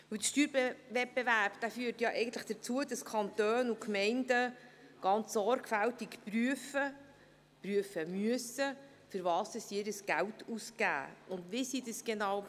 Der Steuerwettbewerb führt dazu, dass die Kantone und Gemeinden ganz sorgfältig prüfen, prüfen müssen, wofür sie ihr Geld ausgeben und wie sie dies tun.